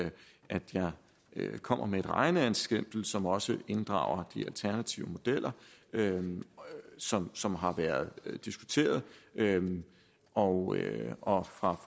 jeg kommer med et regneeksempel som også inddrager de alternative modeller som som har været diskuteret og og fra